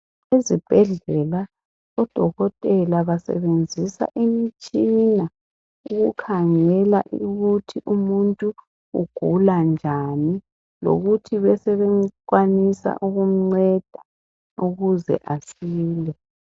ezibhedlela odokotela basebenzisa imitshina ekhangela ukuthi umuntu ugula njani lokuthi besebekwanisa ukumnceda ukuze asile